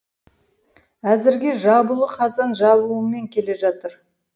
әзірге жабулы қазан жабуымен келе жатыр